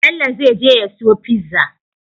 Bello zai je ya siyo pizza